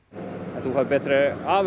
en þú færð betri afurð